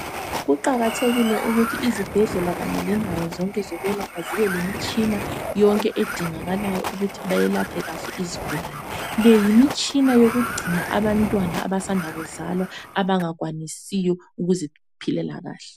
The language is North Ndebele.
Kuqakathekile ukuthi izibhedlela kanye lendawo zonke zokwelapha zibelemitshina yonke edingakalayo ukuthi bayelaphe kahle izigulane. Leyimitshina yokugcina abantwana abasanda kuzalwa abangakwanisiyo ukuziphilela kahle.